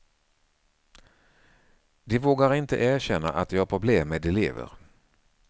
De vågar inte erkänna att de har problem med elever.